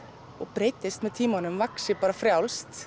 breytist með tímanum vaxi frjálst